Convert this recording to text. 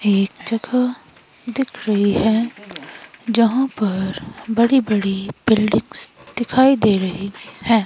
एक जगह दिख रही है जहां पर बड़ी बड़ी बिल्डिंग्स दिखाई दे रही हैं।